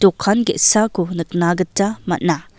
dokan ge·sako nikna gita man·a.